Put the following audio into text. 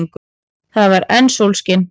Það var enn sólskin.